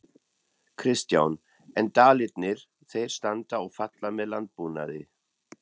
Kristján: En Dalirnir þeir standa og falla með landbúnaði?